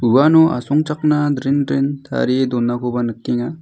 uano asongchakna dren dren tarie donakoba nikenga.